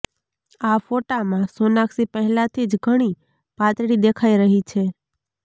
આ ફોટામાં સોનાક્ષી પહેલાથી ઘણી પાતળી દેખાઈ રહી છે